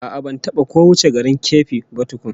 A'a, ban taba ko wuce garin Keffi ba tkun